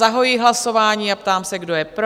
Zahajuji hlasování a ptám se, kdo je pro?